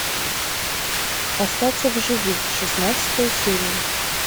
остаться в живых шестнадцатая серия